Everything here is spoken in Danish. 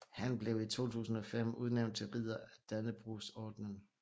Han blev i 2005 udnævnt til ridder af Dannebrogordenen